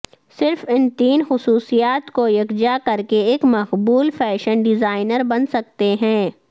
صرف ان تین خصوصیات کو یکجا کر کے ایک مقبول فیشن ڈیزائنر بن سکتے ہیں